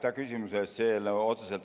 Aitäh küsimuse eest!